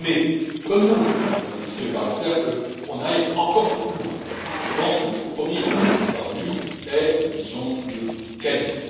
J'aurais aimé comme vous, Mesdames et Messieurs les parlementaires, que l'on aille encore un peu plus loin, mais je pense que le compromis auquel nous sommes parvenus est, disons, de qualité.